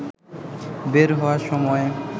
বের হওয়ার সময়